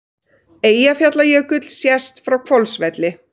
Eyjafjallajökull sést frá Hvolsvelli.